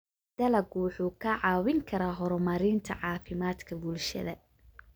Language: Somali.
Dalaggu wuxuu kaa caawin karaa horumarinta caafimaadka bulshada.